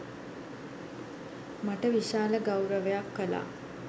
මට විශාල ගෞරවයක් කළා